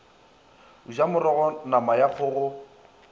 ja morogo nama ya kgogo